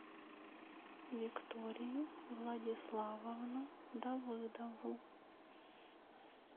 викторию владиславовну давыдову